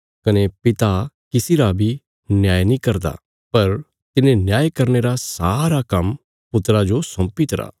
कने पिता किसी रा बी न्याय नीं करदा पर तिने न्याय करने रा सारा काम्म पुत्रा जो सौंपीतरा